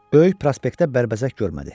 Böyük prospektdə bərbəzək görmədi.